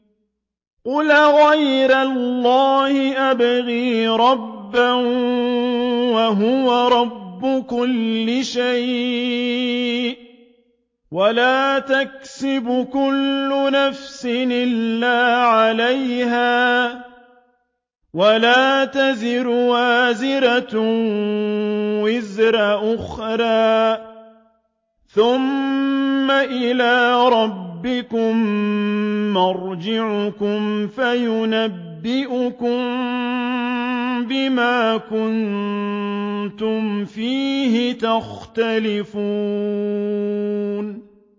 قُلْ أَغَيْرَ اللَّهِ أَبْغِي رَبًّا وَهُوَ رَبُّ كُلِّ شَيْءٍ ۚ وَلَا تَكْسِبُ كُلُّ نَفْسٍ إِلَّا عَلَيْهَا ۚ وَلَا تَزِرُ وَازِرَةٌ وِزْرَ أُخْرَىٰ ۚ ثُمَّ إِلَىٰ رَبِّكُم مَّرْجِعُكُمْ فَيُنَبِّئُكُم بِمَا كُنتُمْ فِيهِ تَخْتَلِفُونَ